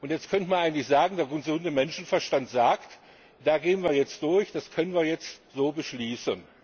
Jetzt könnte man eigentlich sagen, der gesunde Menschenverstand sagt, da gehen wir jetzt durch, das können wir jetzt so beschließen.